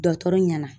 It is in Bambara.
Dɔtɔrɔ ɲɛna